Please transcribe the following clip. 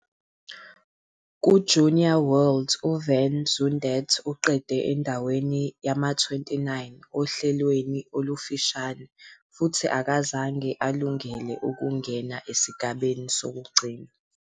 KuJunior Worlds, uVan Zundert uqede endaweni yama-29 ohlelweni olufushane futhi akazange alungele ukungena esigabeni sokugcina.